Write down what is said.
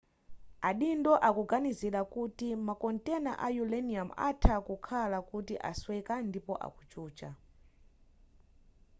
adindo akuganizira kuti makontena a uranium atha kukhala kuti asweka ndipo akuchucha